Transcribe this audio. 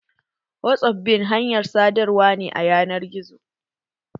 Whatsappinb hanyar sadarwa ne a ƴanar gizo.